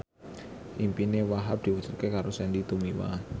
impine Wahhab diwujudke karo Sandy Tumiwa